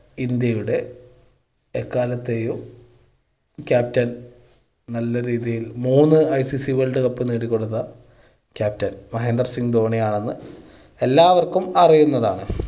ഇന്ത്യയുടെ എക്കാലത്തെയും captain നല്ല രീതിയിൽ മൂന്ന് ICC world cup നേടി കൊടുത്ത captain മഹേന്ദ്ര സിംഗ് ധോണിയാണെന്ന് എല്ലാവർക്കും അറിയുന്നതാണ്.